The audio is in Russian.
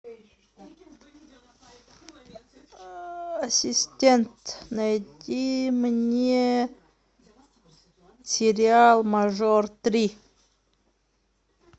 ассистент найди мне сериал мажор три